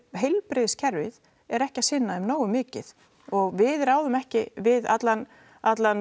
heilbrigðiskerfið er ekki að sinna þeim nógu mikið og við ráðum ekki við allan allan